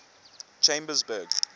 chambersburg